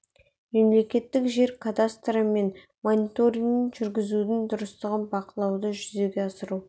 мемлекеттік жер кадастры мен жер мониторингін жүргізудің дұрыстығын бақылауды жүзеге асыру